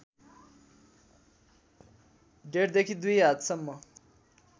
डेढदेखि दुई हातसम्म